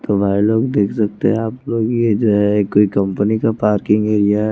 तो भाई लोग देख सकते हैं आप लोग ये जो है कोई कंपनी का पार्किंग एरिया है।